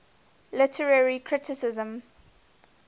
literary criticism